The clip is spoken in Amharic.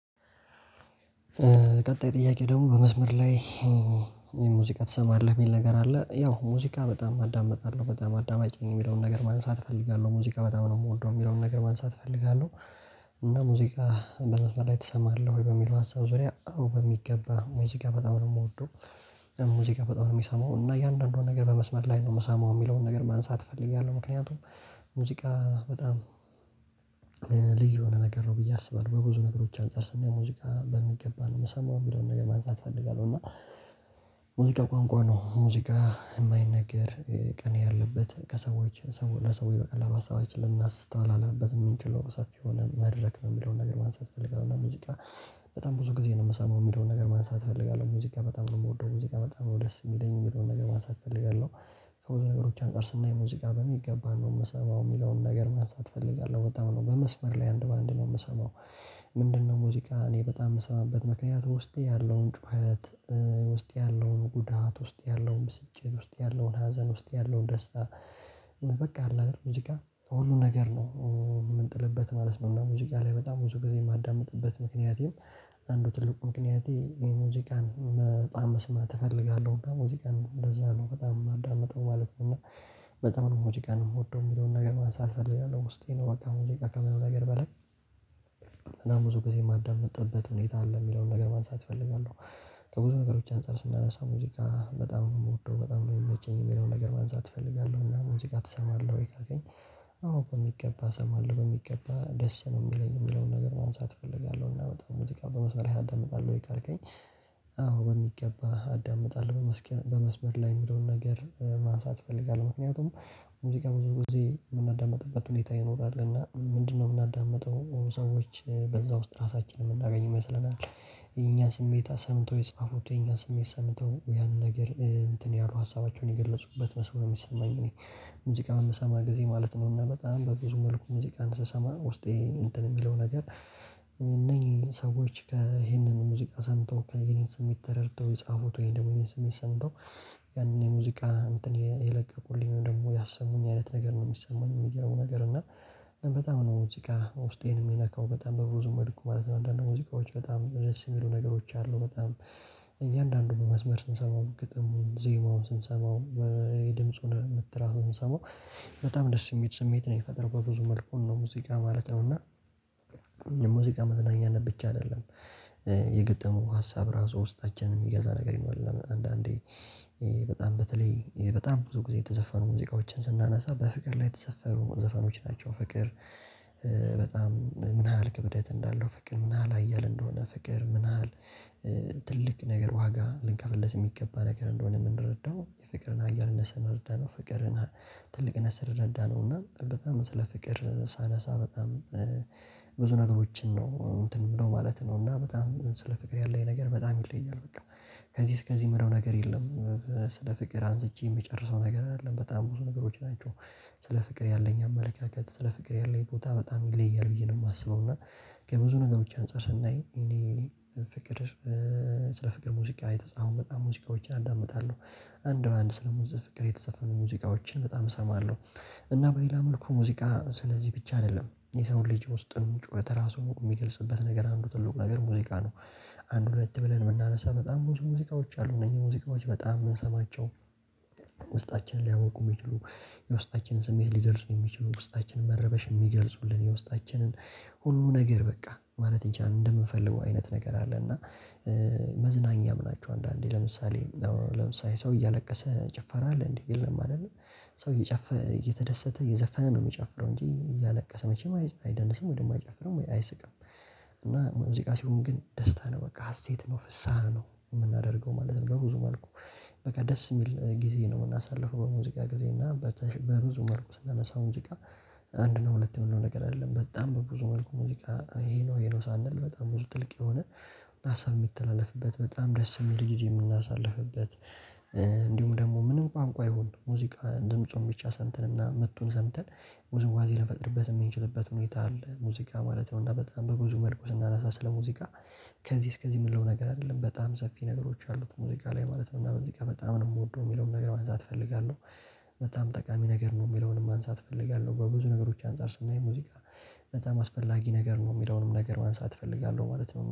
ቀጣይ ጥያቄ ደግሞ በመስመር ላይ ሙዚቃ ትሰማለህ?" የሚል ነገር አለ። ያው ሙዚቃ በጣም አዳምጣለሁ። በጣም አዳማጭ ነኝ የሚለውን ነገር ማንሳት እፈልጋለሁ። ሙዚቃ በጣም ነው የምወደው የሚለውን ነገር ማንሳት እፈልጋለሁ። እና "ሙዚቃ በመስመር ላይ ትሰማለህ ወይ?" በሚለው ሀሳብ ዙሪያ አዎ በሚገባ ሙዚቃ በጣም ነው የምወደው። ሙዚቃ በጣም ነው የምሰማው እና እያንዳንዷን ነገር በመስመር ላይ ነው የምሰማው የሚለውን ነገር ማንሳት እፈልጋለሁ። ምክንያቱም ሙዚቃ በጣም ልዩ የሆነ ነገር ነው ብዬ አስባለሁ። በብዙ ነገሮች አንፃር ስናየው ሙዚቃ በሚገባ ነው የምሰማው የሚለውን ነገር ማንሳት እፈልጋለሁ። እና ሙዚቃ ቋንቋ ነው። ሙዚቃ የማይነገር ቅኔ ያለበት ከሰዎች ለሰዎች በቀላሉ ሀሳባችንን ልናስተላልፍበት የምንችለው ሰፊ የሆነ መድረክ ነው የሚለውን ነገር ማንሳት ትፈልጋለሁ። እና ሙዚቃ በጣም ብዙ ጊዜ ነው የምሰማው የሚለውን ነገር ማንሳት እፈልጋለሁ። ሙዚቃ በጣም ነው የምወደው። ሙዚቃ በጣም ነው ደስ የሚለኝ የሚለውን ነገር ማንሳት እፈልጋለሁ። ከብዙ ነገሮች አንፃር ስናይ ሙዚቃ በሚገባ ነው የምሰማው የሚለውን ነገር ማንሳት እፈልጋለሁ። በጣም ነው በመስመር ላይ አንድ በአንድ ነው የምሰማው። ምንድነው ሙዚቃ እኔ በጣም የምሰማበት ምክንያት ውስጤ ያለውን ጩኸት፣ ውስጤ ያለውን ጉዳት፣ ውስጤ ያለውን ብስጭት፣ ውስጤ ያለውን ሀዘን፣ ውስጥ ያለውን ደስታ በቃ አለ አይደል ሙዚቃ ሁሉ ነገር ነው የምንጥልበት ማለት ነው። እና ሙዚቃ ላይ በጣም ብዙ ጊዜ የማዳምጥበት ምክንያቴም አንዱ ትልቁ ምክንያቴ ይሄን ሙዚቃን በጣም መስማት እፈልጋለሁ። እና ሙዚቃን እንደዛ ነው በጣም የማዳምጠው ማለት ነው። እና በጣም ነው ሙዚቃን የምወደው የሚለውን ነገር ማንሳት እፈልጋለሁ። ውስጤ ነው በቃ ሙዚቃ ከምንም ነገር በላይ እና ብዙ ጊዜ የማዳምጥበት ሁኔታ አለ የሚለውን ነገር ማንሳት እፈልጋለሁ። ከብዙ ነገሮች አንፃር ስናየው ስለ ሙዚቃ በጣም ነው የምወደው። በጣም ነው የሚመቸኝ የሚለውን ነገር ማንሳት እፈልጋለሁ። እና "ሙዚቃ ትሰማለህ ወይ?" ላለኝ አዎ በሚገባ እሰማለሁ በሚገባ ደስ ነው የሚለኝ የሚለውን ነገር ማንሳት እፈልጋለሁ። እና በጣም ሙዚቃ በመስመር ላይ ታዳምጣለ ወይ ካልከኝ አዎ በሚገባ አዳምጣለሁ። በመስመር ላይ የሚለውን ነገር ማንሳት እፈልጋለሁ። ምክንያቱም ሙዚቃ ብዙ ጊዜ የምናዳምጥበት ሁኔታ ይኖራል። እና ምንድነው የምናዳምጠው ሰዎች በዛ ውስጥ ራሳችንን የምናገኝ ይመስለናል። የኛን ስሜት አሰምተው የኛን ስሜት ሰምተው ያንን ነገር እንትን ያሉ ሀሳባቸውን የገለፁበት መስሎ ነው የሚሰማኝ እኔ። ሙዚቃ በምሰማ ጊዜ ማለት ነው እና በጣም በብዙ መልኩ ሙዚቃን ስሰማ ውስጤ እንትን የሚለው ነገር እነኚህ ሰዎች ይሄንን ሙዚቃ ሰምተው የኔን ስሜት ተረድተው ጻፉት ወይም ደግሞ የኔን ስሜት ሰምተው ያንን የሙዚቃ የለቀቁልኝ ወይም ያሰሙኝ አይነት ነገር ነው የሚሰማኝ። እና በጣም ነው ሙዚቃ ውስጤን የሚነካው። በጣም በብዙ መልኩ ማለት ነው። አንድአንድ ሙዚቃዎች ደስ የሚሉ ነገሮች አሉ። እያንዳንዱ በመስመር ስሰማው ግጥሙን፣ ዜማውን ስንሰማው የድምጹንም ትራኩን ስሰማው በጣም ደስ የሚል ስሜት ነው የሚፈጥረው በብዙ መልኩ እና ነው ሙዚቃ ማለት ነው። እና ሙዚቃ መዝናኛነት ብቻ አይደለም። የገጠሙን ሀሳብ ራሱ ውስጣችንን የሚገዛ ነገር ይኖራል። አንድአንዴ በጣም በተለይ በጣም ብዙ ጊዜ የተዘፈኑ ሙዚቃዎችን ስናነሳ በፍቅር ላይ የተዘፈኑ ዘፈኖች ናቸው። ፍቅር ምን ያህል ክብደት እንዳለው ፍቅር ምን ያህል ሐያል እንደሆነ ፍቅር ምን ያህል ትልቅ ነገር ዋጋ ልንከፍልልለት የሚገባ ነገር እንደሆነ የምንረዳው። የፍቅርን ሐያልነት ስንረዳ ነው ፍቅርን ትልቅነት ስንረዳ ነው እና በጣም ስለ ፍቅር ሳነሳ በጣም ብዙ ነገሮችን ነው እንትን እምለው ማለት ነው። እና በጣም ስለ ፍቅር ያለኝ ነገር በጣም ይለያል በቃ። ከዚህ እስከዚህ የምለው ነገር የለም ስለ ፍቅር አንስቼ የምጨርሰው ነገር አይደለም። በጣም ብዙ ነገሮች ናቸው። ስለ ፍቅር ያለኝ አመለካከት ስለ ፍቅር ያለኝ ቦታ በጣም ይለያል ብዬ ነው የማስበው። እና ከብዙ ነገሮች አንፃር ስናይ እኔ ፍቅር ስለ ፍቅር ሙዚቃ የተፃፉ በጣም ሙዚቃዎችን አዳምጣለሁ። አንድ በአንድ ስለ ፍቅር የተዘፈኑ ሙዚቃዎችን በጣም እሰማለሁ። እና በሌላ መልኩ ሙዚቃ ስለዚህ ብቻ አይደለም። የሰውን ልጅ ውስጥን ጩኸት ራሱ የሚገልጽበት ነገር አንዱ ትልቁ ነገር ሙዚቃ ነው። አንድ ሁለት ብለን የምናነሳ በጣም ብዙ ሙዚቃዎች አሉ እነዚህ ሙዚቃዎች በጣም የምንሰማቸው ውስጣችንን ሊያሞቁ የሚችሉ። የውስጣችንን ስሜት ሊገልጹ የሚችሉ። የውስጣችንን መረበሽ የሚገልጹልን። የውስጣችንን ሁሉ ነገር በቃ ማለት እንችላለን እንደምንፈልገው አይነት ነገር አለ። እና መዝናኛም ናቸው። አንድአንዴ ለምሳሌ ለምሳሌ ሰው እያለቀሰ ጭፈራ አለ እንዴ? የለም አይደለም? ሰው እየጨፈረ እየተደሰተ እየዘፈነ ነው የሚጨፍረው እንጂ እያለቀሰ መቼም አይደንስም ወይ ደግሞ አይጨፍርም አይስቅም። እና ሙዚቃ ሲሆን ግን ደስታ ነው በቃ። ሀሴት ነው ፍስሃ ነው የምናደርገው ማለት ነው። በብዙ መልኩ በቃ ደስ የሚል ጊዜ ነው የምናሳልፈው በሙዚቃ ጊዜ። እና በብዙ መልኩ ስናነሳው ሙዚቃ አንድ ነው ሁለት ነው የምንለው ነገር አይደለም። በጣም በብዙ መልኩ ሙዚቃ ይሄ ነው ይሄ ነው ሳንል በጣም ብዙ ጥልቅ የሆነ ሀሳብ የሚተላለፍበት፣ በጣም ደስ የሚል ጊዜ የምናሳልፍበት እንዲሁም ደግሞ ምንም ቋንቋ ይሁን ሙዚቃ ድምፁን ብቻ ሰምተንና ምቱን ሰምተን ውዝዋዜ ልንፈጥርበት የምንችልበት ሁኔታ አለ ሙዚቃ ማለት ነው። እና በጣም በብዙ መልኩ ስናነሳ ስለ ሙዚቃ ከዚህ እስከዚህ የምንለው ነገር አይደለም። በጣም ሰፊ ነገሮች አሉት ሙዚቃ ላይ ማለት ነው። እና ሙዚቃ በጣም ነው የምወደው የሚለውን ነገር ማንሳት እፈልጋለሁ። በጣም ጠቃሚ ነገር ነው። የሚለውንም ማንሳት እፈልጋለሁ በብዙ ነገሮች አንፃር ስናየው ሙዚቃ በጣም አስፈላጊ ነገር ነው የሚለውንም ነገር ማንሳት እፈልጋለሁ ማለት ነው።